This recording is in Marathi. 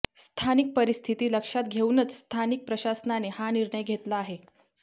स्थानिक परिस्थिती लक्षात घेऊनच स्थानिक प्रशासनाने हा निर्णय घेतला आहे